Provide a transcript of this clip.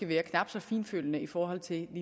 være knap så fintfølende i forhold til